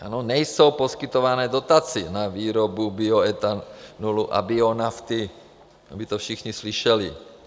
- Ano, nejsou poskytovány dotace na výrobu bioetanolu a bionafty, aby to všichni slyšeli.